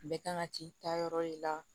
Bɛɛ kan ka t'i ta yɔrɔ de la